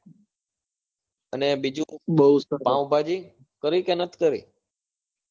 અને બીજું પાવભાજી કરી કે નથી કરી